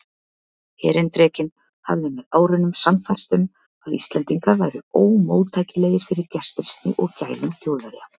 Erindrekinn hafði með árunum sannfærst um, að Íslendingar væru ómóttækilegir fyrir gestrisni og gælum Þjóðverja.